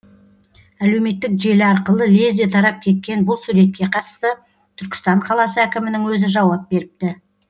әлеуметтік желі арқылы лезде тарап кеткен бұл суретке қатысты түркістан қаласы әкімінің өзі жауап беріпті